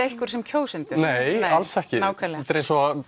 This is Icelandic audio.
ykkur sem kjósendur nei alls ekki nákvæmlega þetta er eins og